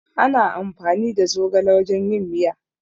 Ana amfani da zogale wajen yin miya